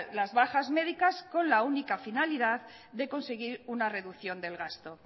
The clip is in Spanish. las bajas médicas con la única finalidad de conseguir una reducción del gasto